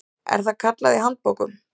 er það kallað í handbókum.